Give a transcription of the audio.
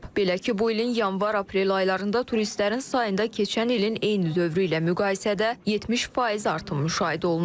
Belə ki, bu ilin yanvar-aprel aylarında turistlərin sayında keçən ilin eyni dövrü ilə müqayisədə 70% artım müşahidə olunur.